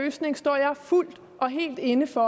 løsning står jeg fuldt og helt inde for